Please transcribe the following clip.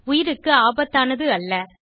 உயிருக்கு ஆபத்தானது அல்ல